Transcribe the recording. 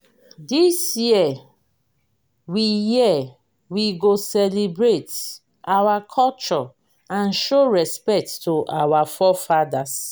this year we year we go celebrate our culture and show respect to our forefathers.